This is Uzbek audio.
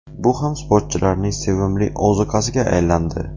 Bu ham sportchilarning sevimli ozuqasiga aylandi.